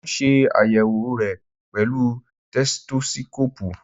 Mo ń ṣe àyèwò re pẹ̀lú tẹsitósíkóòpù